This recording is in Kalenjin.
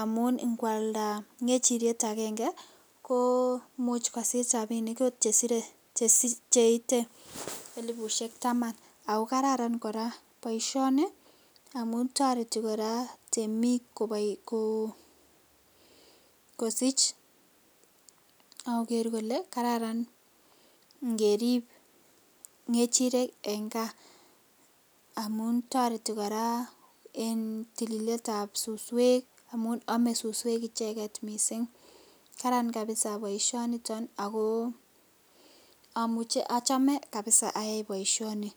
amu inkwalda ngechiriet agenge kosich rabinik oot cheite elifushek tamak ,ako kararan koraa boisioni amun toreti koraa temik kosich ak koker kole kararan ingerib ngechirek en kaa, amun toreti koraa en tililetab suswek amun ome suswek icheket missing' karan kabisa boishoniton amuche, ochome kabisa ayai boisioni.